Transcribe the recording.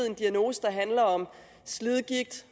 en diagnose der handler om slidgigt